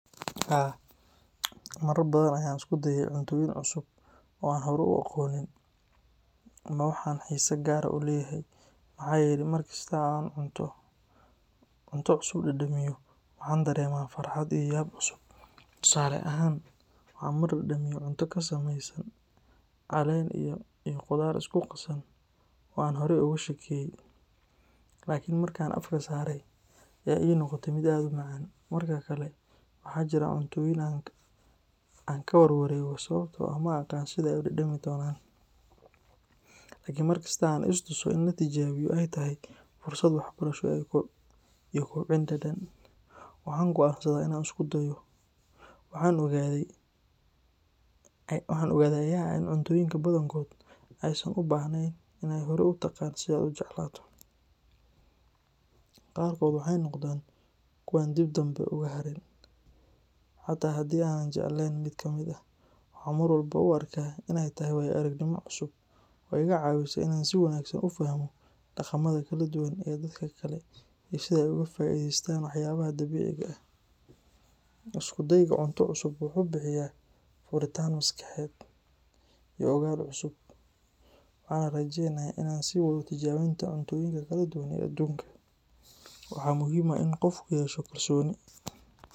Haa, marar badan ayaan isku dayay cuntooyin cusub oo aan horay u aqoonin. Waa wax aan xiise gaar ah u leeyahay, maxaa yeelay mar kasta oo aan cunto cusub dhadhamiyo, waxaan dareemaa farxad iyo yaab cusub. Tusaale ahaan, waxaan mar dhadhamiyay cunto ka samaysan caleen iyo khudaar isku qasan oo aan horey uga shakiyay, laakiin markii aan afka saaray ayaa la ii noqotay mid aad u macaan. Marar kale waxaa jira cuntooyin aan ka warwareego sababtoo ah ma aqaan sida ay u dhadhami doonaan, laakiin mar kasta oo aan is tuso in la tijaabiyo ay tahay fursad waxbarasho iyo kobcin dhadhan, waxaan go'aansadaa inaan isku dayo. Waxa aan ogaaday ayaa ah in cuntooyinka badankood aysan u baahnayn in aad horay u taqaan si aad u jeclaato. Qaarkood waxay noqdaan kuwo aan dib dambe uga harin. Xataa haddii aanan jeclaanin mid kamid ah, waxaan mar walba u arkaa in ay tahay waayo-aragnimo cusub oo iga caawisa in aan si wanaagsan u fahmo dhaqamada kala duwan ee dadka kale iyo sida ay uga faa'iideystaan waxyaabaha dabiiciga ah. Isku dayga cunto cusub wuxuu bixiyaa furitaan maskaxeed iyo ogaal cusub, waxaana rajeynayaa inaan sii wado tijaabinta cunnooyinka kala duwan ee aduunka. Waxaa muhiim ah in qofku yeesho kalsooni.